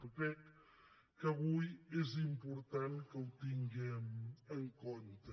crec que avui és important que ho tinguem en compte